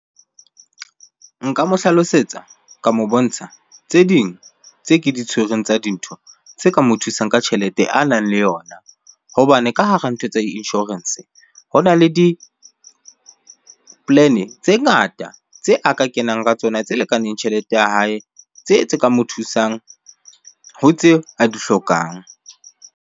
Nka mo hlalosetsa, ka mo bontsha tse ding tse ke di tshwereng tsa dintho tse ka mo thusang ka tjhelete a nang le yona. Hobane ka hara ntho tsa insurance hona le di-plan-e tse ngata, tse a ka kenang ka tsona tse lekaneng tjhelete ya hae. Tse tse ka mo thusang ho tse a di hlokang.